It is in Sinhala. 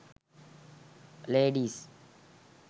ladies